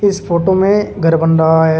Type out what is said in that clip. इस फोटो में घर बन रहा है।